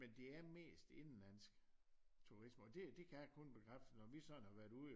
Men det er mest indenlandsk turisme og det kan jeg kun bekræfte når vi sådan har været ude